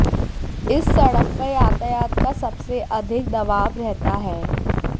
इस सड़क पर यातायात का सबसे अधिक दबाव रहता है